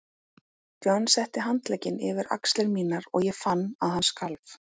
John setti handlegginn yfir axlir mínar og ég fann að hann skalf.